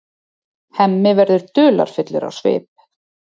Hemmi verður dularfullur á svip.